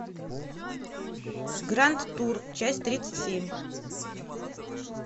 гранд тур часть тридцать семь